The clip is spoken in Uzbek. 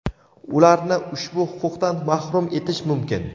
ularni ushbu huquqdan mahrum etish mumkin.